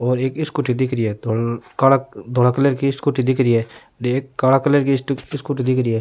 और एक स्कूटी दिख री है काला धोला कलर की स्कूटी दिख री हैएक कला कलर की स्कूटी दिख री है।